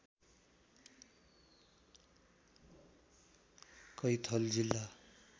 कैथल जिल्ला